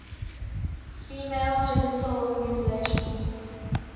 female genital mutilation